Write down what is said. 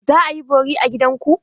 Za a yi bori a gida ku?